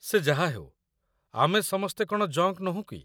ସେ ଯାହାହେଉ, ଆମେ ସମସ୍ତେ କ'ଣ ଜଙ୍କ୍ ନୋହୁଁ କି?